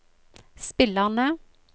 spillerne